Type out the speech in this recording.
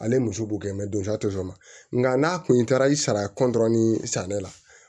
Ale muso b'u kɛ nka n'a kun taara i sara sa ne la